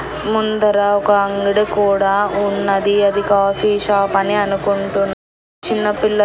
ముందర ఒక అంగడి కూడా ఉన్నది అది కాఫీ షాప్ అని అనుకుంటున్ చిన్న పిల్ల--